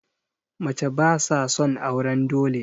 Mace ba sa son auren dole